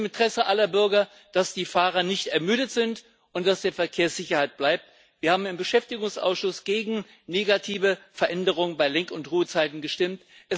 Es ist im Interesse aller Bürger, dass die Fahrer nicht ermüdet sind und dass die Verkehrssicherheit bleibt. Wir haben im Beschäftigungsausschuss gegen negative Veränderungen bei Lenk und Ruhezeiten gestimmt.